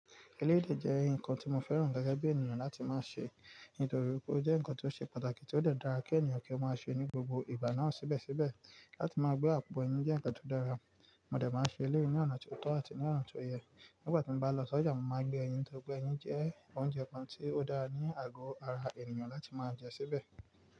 Eléyìí dẹ jẹ́ ǹkan tí mo fẹ́ràn gẹ́gẹ́ bí ènìyàn láti máa ṣe, nítorí pé ó jẹ́ ǹkan tó ṣe pàtàkì tí ó dàra kí ènìyàn kí ó máa ṣe ní gbogbo ìgbà náà síbẹ̀síbẹ̀. Láti máa gbé àpò ẹyin jẹ́ ǹkan tó dára, mo dà máa ṣe eléwé ní ọ̀nà tó tọ́ àti ní ọ̀nà tó yẹ. Nígbà tí mo bá lọ sọjà, mo máa gbé ẹyin nitorí pé ẹyin jẹ́ oúnjẹ kan tí ó dára ní àgọ́ ara ènìyàn láti máa jẹ síbẹ̀.